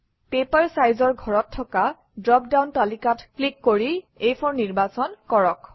paper Size অৰ ঘৰত থকা ড্ৰপ ডাউন তালিকাত ক্লিক কৰি আ4 নিৰ্বাচন কৰক